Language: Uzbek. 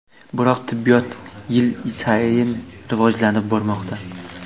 Biroq tibbiyot yil sayin rivojlanib bormoqda.